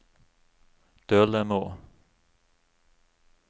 Dølemo